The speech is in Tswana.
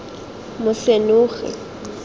mosenogi